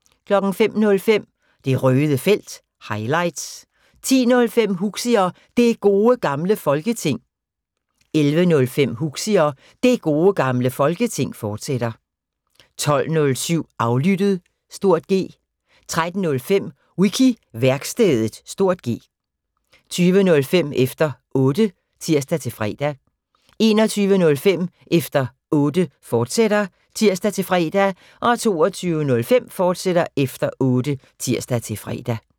05:05: Det Røde Felt – highlights 10:05: Huxi og Det Gode Gamle Folketing 11:05: Huxi og Det Gode Gamle Folketing, fortsat 12:07: Aflyttet (G) 13:05: Wiki-værkstedet (G) 20:05: Efter Otte (tir-fre) 21:05: Efter Otte, fortsat (tir-fre) 22:05: Efter Otte, fortsat (tir-fre)